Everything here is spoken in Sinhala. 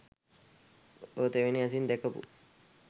ඔය තෙවෙනි ඇසින් දැකපු